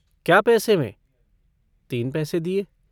कै पैसे में तीन पैसे दिये।